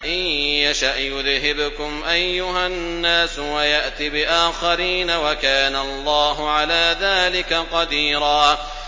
إِن يَشَأْ يُذْهِبْكُمْ أَيُّهَا النَّاسُ وَيَأْتِ بِآخَرِينَ ۚ وَكَانَ اللَّهُ عَلَىٰ ذَٰلِكَ قَدِيرًا